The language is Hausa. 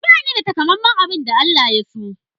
Bani da takamaiman abin da Allah ya so.